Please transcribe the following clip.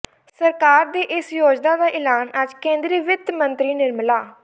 ਸਰਕਾਰ ਦੀ ਇਸ ਯੋਜਨਾ ਦਾ ਐਲਾਨ ਅੱਜ ਕੇਂਦਰੀ ਵਿੱਤ ਮੰਤਰੀ ਨਿਰਮਲਾ